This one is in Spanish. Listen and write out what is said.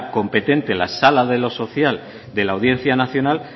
competente la sala de lo social de la audiencia nacional